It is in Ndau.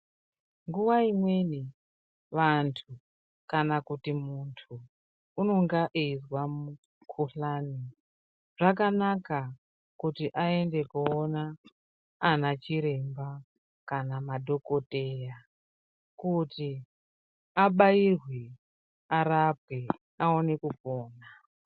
Nguwa imweni vantu kana kuti muntu unenge eizwa mukhuhlane. Zvakanaka kutii ayende kowona ana chiremba kana madhokodheya kuti abairwe, arapwe awone kupora.